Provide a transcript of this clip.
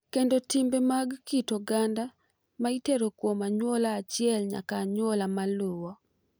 Kendo timbe mag kit oganda ma itero kuom anyuola achiel nyaka anyuola maluwo.